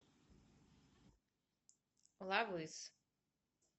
лав из